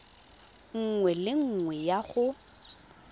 nngwe le nngwe ya go